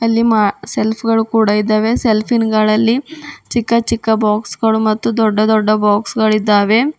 ಅಲ್ಲಿ ಮ ಸೆಲ್ಫ್ ಗಳು ಕೂಡ ಇದ್ದಾವೆ ಸೆಲ್ಫ್ ಇನ್ ಗಳಲ್ಲಿ ಚಿಕ್ಕ ಚಿಕ್ಕ ಬಾಕ್ಸ್ ಗಳು ಮತ್ತು ದೊಡ್ಡ ದೊಡ್ಡ ಬಾಕ್ಸ್ ಗಳಿದ್ದಾವೆ.